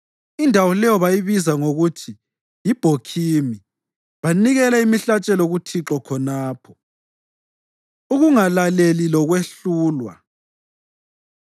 indawo leyo bayibiza ngokuthi yiBhokhimi. Banikela imihlatshelo kuThixo khonapho. Ukungalaleli Lokwehlulwa